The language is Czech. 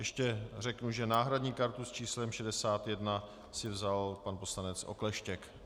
Ještě řeknu, že náhradní kartu s číslem 61 si vzal pan poslanec Okleštěk.